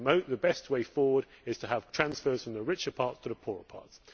the best way forward is to have transfers from the richer parts to the poor parts.